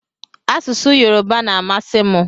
Asụsụ yoruba na amasi mu.